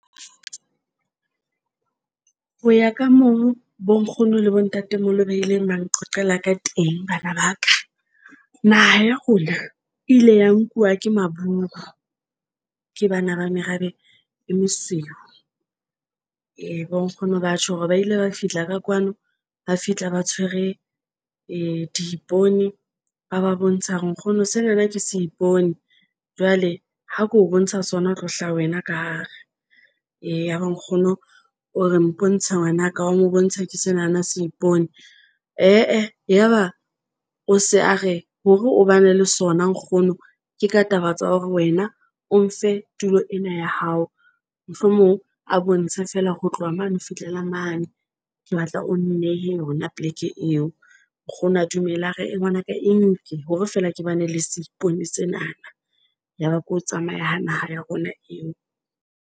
Ho ya ka moo bo nkgono le bo ntatemoholo ba ileng ba nqoqela ka teng, bana ba ka naha ya rona e ile ya nkuwa ke maburu. Ke bana ba merabe e mosweu, e bo nkgono batho hore ba ile ba fihla ka kwano, ba fihla ba tshwere di ipone ba ba bontsha hore nkgono senana ke se ipone jwale. Ha ke o bontsha sona, ho tlo hlaha wena ka hare. Eya ya ba nkgono o re mpontshe ngwanaka wa mo bontsha ke senana se ipone , yaba o se a re hore o ba ne le sona nkgono. Ke ka taba tsa hore wena o mfe tulo ena ya hao mohlomong a bontshe feela ho tloha mane ho fihlela mane ke batla o nnehe. Yona poleke eo nkgono a dumele hore e ngwanaka eng ke hore feela ke bane le seipone sena, ya ba ke ho tsamaya ho naha ya rona eo.